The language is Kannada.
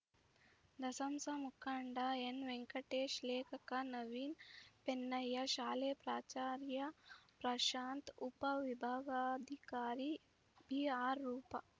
ದಸಂಸ ಮುಖಂಡ ಎನ್‌ವೆಂಕಟೇಶ್‌ ಲೇಖಕ ನವೀನ್‌ ಪೆನ್ನಯ್ಯ ಶಾಲೆ ಪ್ರಾಚಾರ್ಯ ಪ್ರಶಾಂತ್‌ ಉಪವಿಭಾಗಾಧಿಕಾರಿ ಬಿಆರ್‌ ರೂಪ